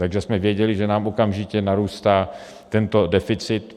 Takže jsme věděli, že nám okamžitě narůstá tento deficit.